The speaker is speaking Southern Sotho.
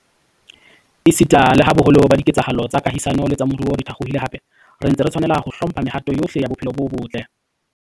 Esita leha boholo ba dike tsahalo tsa kahisano le tsa moruo di thakgohile hape, re ntse re tshwanela ho hlo mpha mehato yohle ya bophelo bo botle.